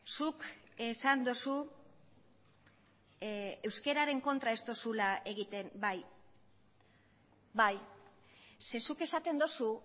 zuk esan duzu euskararen kontra ez duzula egiten bai bai ze zuk esaten duzu